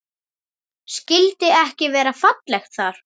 Skyldi ekki vera fallegt þar?